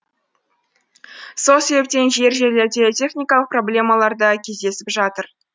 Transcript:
сол себептен жер жерлерде техникалық проблемалар да кездесіп жатыр